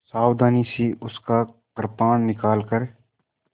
सावधानी से उसका कृपाण निकालकर